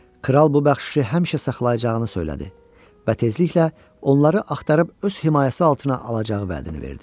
Kral bu bəxşişi həmişə saxlayacağını söylədi və tezliklə onları axtarıb öz himayəsi altına alacağı vədini verdi.